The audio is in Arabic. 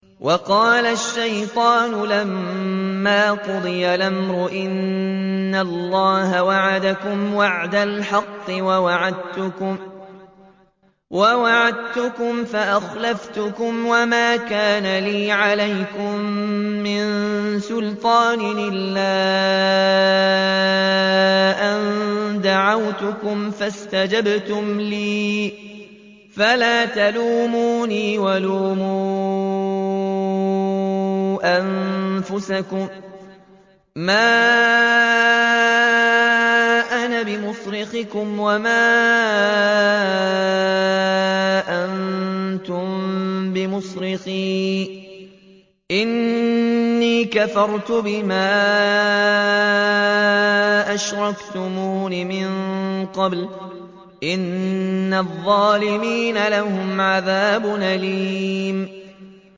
وَقَالَ الشَّيْطَانُ لَمَّا قُضِيَ الْأَمْرُ إِنَّ اللَّهَ وَعَدَكُمْ وَعْدَ الْحَقِّ وَوَعَدتُّكُمْ فَأَخْلَفْتُكُمْ ۖ وَمَا كَانَ لِيَ عَلَيْكُم مِّن سُلْطَانٍ إِلَّا أَن دَعَوْتُكُمْ فَاسْتَجَبْتُمْ لِي ۖ فَلَا تَلُومُونِي وَلُومُوا أَنفُسَكُم ۖ مَّا أَنَا بِمُصْرِخِكُمْ وَمَا أَنتُم بِمُصْرِخِيَّ ۖ إِنِّي كَفَرْتُ بِمَا أَشْرَكْتُمُونِ مِن قَبْلُ ۗ إِنَّ الظَّالِمِينَ لَهُمْ عَذَابٌ أَلِيمٌ